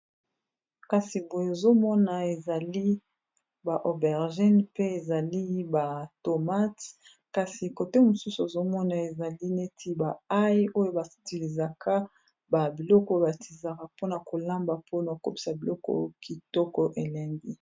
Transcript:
kasi boye ozomona ezali ba obergine mpe ezali ba tomat kasi kote mosusu ozomona ezali neti ba ai oyo basitilizaka ba biloko batizaka mpona kolamba mpona okobisa biloko kitoko elengi